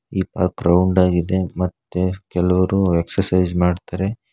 ಈ park ground ಆಗಿದೆ ಮತ್ತೆ ಕೆಲವರು ಎಕ್ಸರ್ಸೈಜ್ ಮಾಡ್ತಾರೆ.